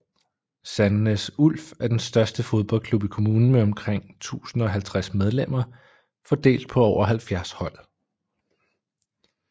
Sandnes Ulf er den største fodboldklub i kommunen med omkring 1050 medlemmer fordelt på over 70 hold